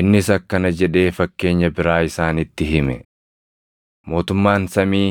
Innis akkana jedhee fakkeenya biraa isaanitti hime; “Mootummaan samii